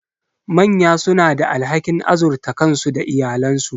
Manya suna da alhakin azurta kansu da iyalansu.